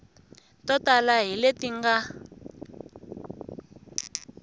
to tala hi leti nga